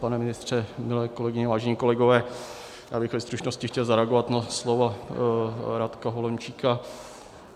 Pane ministře, milé kolegyně, vážení kolegové, já bych ve stručnosti chtěl zareagovat na slova Radka Holomčíka.